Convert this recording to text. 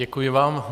Děkuji vám.